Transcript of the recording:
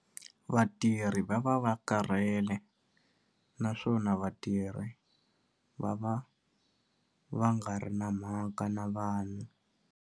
Vatirhi va va va karhele naswona vatirhi va va va nga ri na mhaka na vanhu.